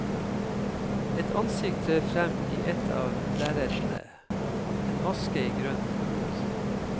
Et ansikt trer frem i et av lerretene, en maske i grønt og blått.